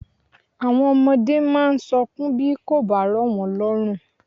Àwọn ọmọdé máa ń sọkún bí kò bá rọ̀ wọ́n lọ́rùn.